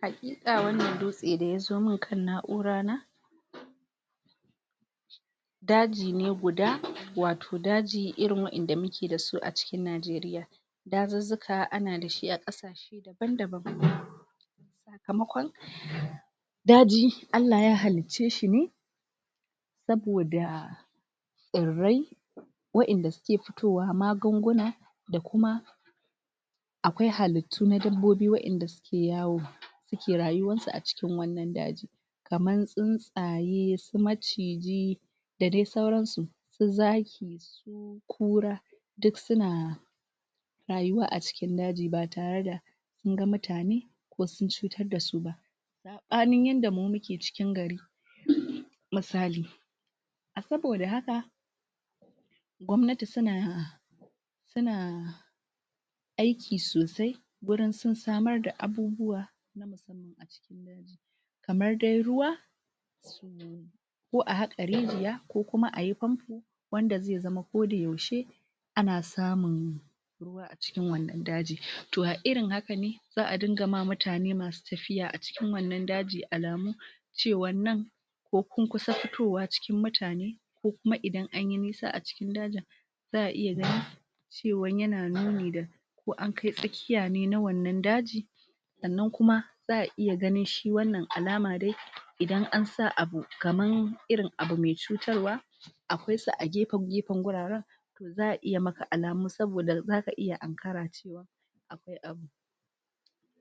Hakika wannan dutse daya zo man kan na'ura na daji ne guda wato daji irin wandanda muke dasu a cikin nageria dazuzzuka ana dashi abu daban sakamakon daji allah ya halicce shine saboda sirrai wadanda suke fitowa magunguna da kuma akwai halittu na dabbobi wadanda suke yawo suke rayuwarsu a cikin wannan daji kamar tsintsaye su maciji da dai sauran su zaki su kura duk suna rayuwa a cikin daji ba tare da an ga mutane ko sun cutar da su ba sabanin yanda mu muke ciki gari misali saboda haka gwamnati suna suna aiki sosai ganin sun samar da abubuwa na musamman kamar dai ruwa ko a haka rijiya ko kuma ayi pampo wanda zai zama koda yaushe ana samun ruwa a cikin cikin wannan daji to a irin haka ne za'a dinga ma mutane masu tafiya a cikin wannan daji alamu cewar nan ko kun kusa fitowa cikin mutane ko kuma idan anyi nisa a cikin dajin za'a iya gani cewan yana nuni da ko an kai tsakkiya ne na wannan daji sannan kuma za'a iya ganin shi wannan alama dai iadn an sa abu kamar irin abu mai cutarwa akwai su a gefe gefen guraren to za'a iya maka alamu saboda zaka iya ankare cewa akwai abu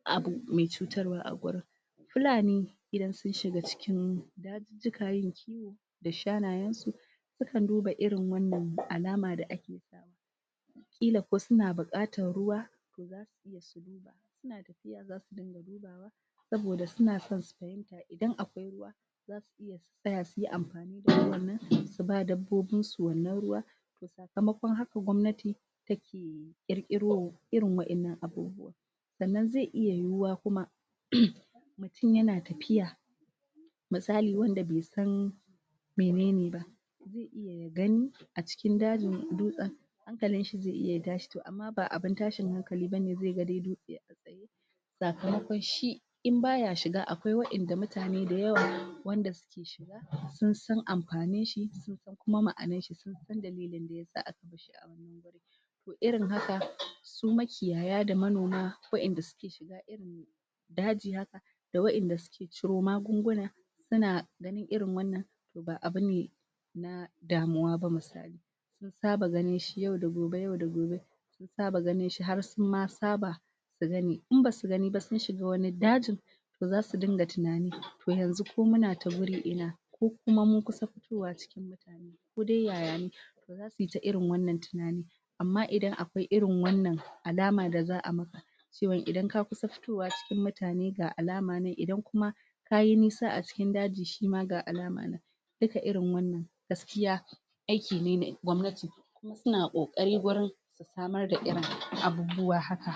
abu mai cutarwa a gurin fulani idan sun shiga cikin dazuzzuka da shanayen su sukan duba irin wannan alama da ake kila ko suna bukatar ruwa to zasu iya su duba in suna tafiya zasu dinga dubawa saboda suna son su fahimta idan akwai ruwa su tsaya suyi amfani da wannan suba dabbobin su wannan ruwa to sakamakon haka gwamnati take kirkiro irin wadannan abubuwa sannan zai iya yiyuwa kuma mutum yana tafiya misali wanda bai san menene ba zai iya ya gani a cikin dajin dutsen hankalin shi zai iya ya tashi amma ba abin tashin hankali bane zai dai ga dutse a tsaye sakamakon shi inbaya shiga akwai wadanda mutane da yawa wanda suke shiga sun san amfanin shi sun san kuma ma'anar shi sun san dalilin daya sa aka barshi a wannann gurin to irin haka su makiyaya da manoma wadanda suke shiga irin daji haka da wadanda suke ciro magunguna suna ganin irin wannan to ba abune na damuwa ba misali sun saba ganin shi yau da gobe yau da gobe sun saba ganin shi har sunma saba su gani in basu gani ba sun shiga wani dajin zasu dinga tunani to yanzu ko muna ta gurin ina ko kuma mun kusa fitowa cikin mutane ko dai yayane zasuyi ta irin wannan tunanin amma idan akwai irin wanna alama da za'a maka cewan idan ka kusa fitowa cikin mutane ga alama nan idan kuma kayi nisa a cikin daji shima ga alama nan duka irin wannan gaskiya aiki ne na gwamnati kuma suna kokari gurin samar da abubuwa irin haka